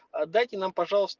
отдайте нам пожалуйст